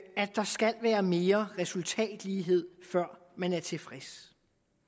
der skal være mere resultatlighed før man er tilfreds